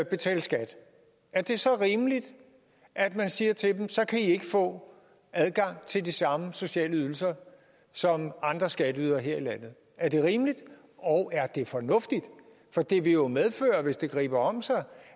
betale skat er det så rimeligt at man siger til dem så kan i ikke få adgang til de samme sociale ydelser som andre skatteydere her i landet er det rimeligt og er det fornuftigt for det vil jo medføre hvis det griber om sig